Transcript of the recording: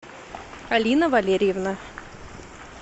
алина валерьевна